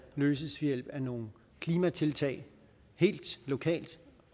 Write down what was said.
løses ved hjælp af nogle klimatiltag helt lokalt